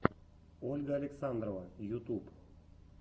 ольга александрова ютуб